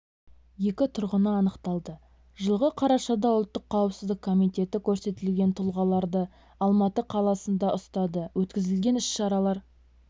екі тұрғыны анықталды жылғы қарашада ұлттық қауіпсіздік комитеті көрсетілген тұлғаларды алматы қаласында ұстады өткізілген іс-шаралар